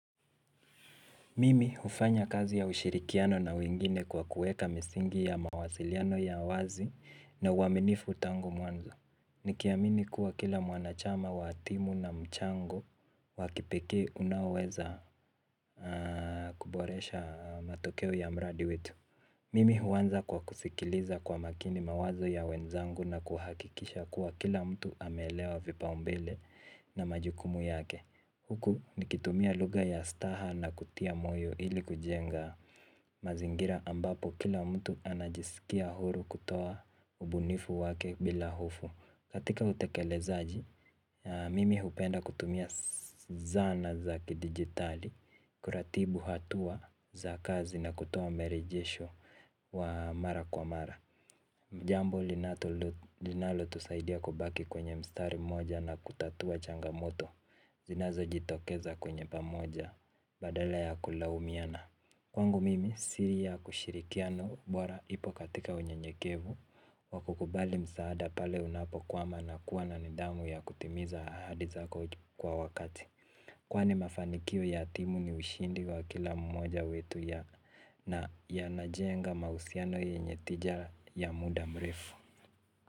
Mimi ufanya kazi ya ushirikiano na wengine kwa kueka misingi ya mawasiliano ya wazi na uaminifu tangu mwanzo. Nikiamini kuwa kila mwanachama wa timu na mchango wakipeke unaweza kuboresha matokeo ya mradi wetu. Mimi uwanza kwa kusikiliza kwa makini mawazo ya wenzangu na kuhakikisha kuwa kila mtu amelewa vipa umbele na majukumu yake. Huku nikitumia luga ya staha na kutia moyo ili kujenga mazingira ambapo kila mtu anajisikia huru kutoa ubunifu wake bila hofu. Katika hutekele zaaji, mimi hupenda kutumia zana za kidigitali, kuratibu hatua za kazi na kutoa merejesho wa mara kwa mara. Jambo linato linalo tusaidia kubaki kwenye mstari moja na kutatua changamoto zinazo jitokeza kwenye pamoja badala ya kulaumiana. Kwangu mimi siri ya kushirikiano bora ipo katika unye nyekevu. Wakukubali msaada pale unapo kwama na kuwa na nidamu ya kutimiza ahadi zako kwa wakati. Kwani mafanikio ya timu ni ushindi wa kila mmoja wetu yana yanajenga mausiano yenye tija ya muda mrefu.